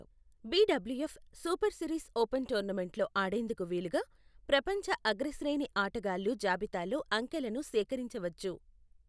BWF super series open టోర్నమెంట్లలో ఆడేందుకు వీలుగా, ప్రపంచ అగ్రశ్రేణి ఆటగాళ్లు జాబితాలో అంకెలను సేకరించవచ్చు.